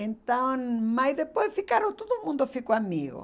Então, mas depois ficaram, todo mundo ficou amigo.